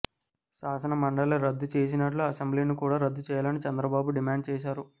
శాసనమండలి రద్దు చేసినట్లు అసెంబ్లీని కూడా రద్దు చేయాని చంద్రబాబు డిమాండ్ చేశారు